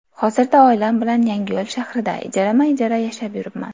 Hozirda oilam bilan Yangiyo‘l shahrida ijarama-ijara yashab yuribman.